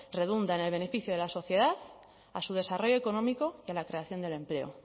redunda en el beneficio de la sociedad a su desarrollo económico y a la creación del empleo